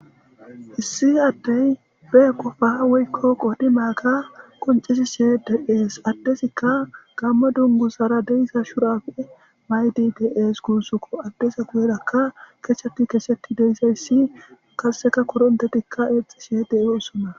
Issi adey be qopa woyko qodimaga qoncishe de'es, adezika gamo dunguzara de'za shurabe mayid de'es gusuko. Adez guyeraka kechet kechet de'iyays qase korontetika exishe dosona .